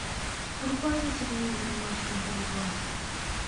врубай на телевизоре матч футбол два